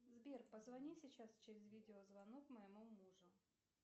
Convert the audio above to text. сбер позвони сейчас через видеозвонок моему мужу